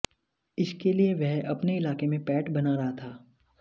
इसके लिए वह अपने इलाके में पैठ बना रहा था